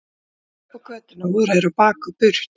Þegar hann leit upp á götuna voru þeir á bak og burt.